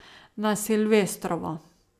Na silvestrovo.